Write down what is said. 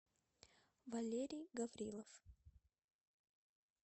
валерий гаврилов